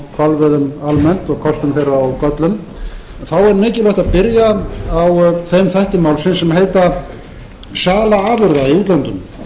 hvalveiðum almennt og kostum þeirra og göllum þá er mikilvægt að byrja á þeim þætti málsins sem heitir sala afurða í útlöndum